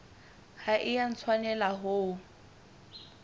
ha e a tshwanela ho